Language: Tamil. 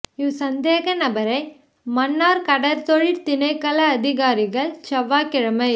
இவ் சந்தேக நபரை மன்னார் கடற்தொழில் திணைக்கள அதிகாரிகள் செவ்வாய் கிழமை